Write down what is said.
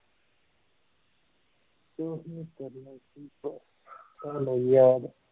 ਕੁਝ ਨਹੀਂ ਕਰਨਾ ਕਿ ਤੁਹਾਨੂੰ ਯਾਦ